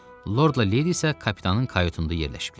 Lordla Lady isə kapitanın kayutunda yerləşiblər.